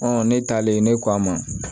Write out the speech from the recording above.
ne taalen ne k'a ma